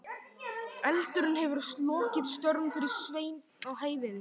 Eldurinn hefur lokið störfum fyrir Svein á heiðinni.